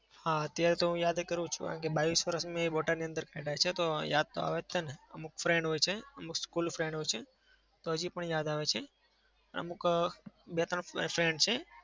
હા. અત્યાર તો હું યાદ કરું જ છું. કારણ કે બાવીશ વર્ષ મેં બોટાદની અંદર કાઢ્યા છે તો યાદ તો આવે જ છે ને. અમુક friend હોય છે. અમુક school friend હોય છે. તો હજી પણ યાદ આવે છે. અમુક અમ બે-ત્રણ friend છે.